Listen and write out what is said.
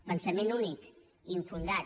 pensament únic infundat